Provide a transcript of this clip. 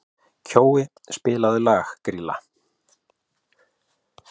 Kjói, spilaðu lagið „Grýla“.